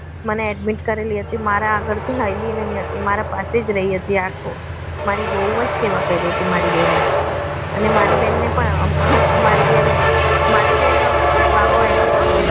મને admit કરેલી હતી મારા આગળથી હલી નહિ હતી મારા પાસે જ રહી હતી આખો મારી બહુ જ સેવા કરી હતી મારી બેને અને મારી બેનને પર મારી જ્યારે મારે જ્યારે બાબો આવ્યો હતો